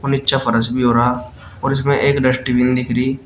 नीचे फरस भी हो रहा और इसमें एक डस्टबिन दिख रही--